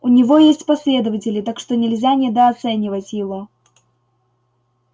у него есть последователи так что нельзя недооценивать его